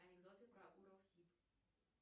анекдоты про уралсиб